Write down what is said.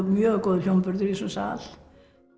mjög góður hljómburður í þessum sal